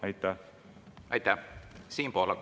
Aitäh!